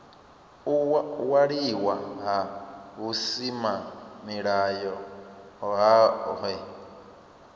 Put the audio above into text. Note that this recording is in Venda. u waliwa ha vhusimamilayo hohe